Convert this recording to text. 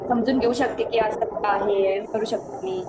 समजून घेऊ शकते असा आहे, विचारू शकते मी